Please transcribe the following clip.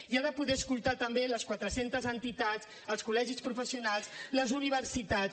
i ha de poder escoltar també les quatre centes entitats els col·legis professionals les universitats